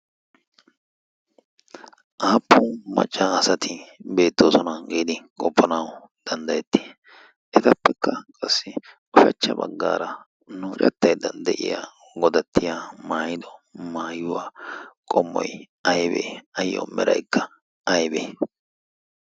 aappun maccaasati beettoosona geedi qoppanawu danddayetti etappekka qassi ushachcha baggaara nucattaydda de'iya godattiya maayido maayuwaa qommoy aybee ayyo mera ikka aybee